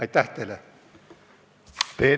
Aitäh teile!